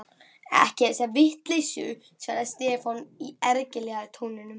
ekki þessa vitleysu, svaraði Stefán í ergilega tóninum.